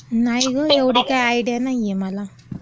नाही गं, एवढी काय आयडिया नाहीये मला.